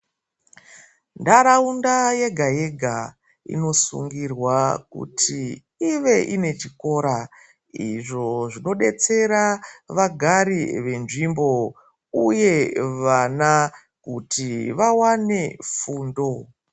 Ndaraunda yega-yega, inosungirwa kuti ive inechikora, izvo zvinodetsera vagari venzvimbo, uye vana kuti vawane fundo.